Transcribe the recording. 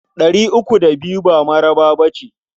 Ɗari uku da biyu ba mara ba ce.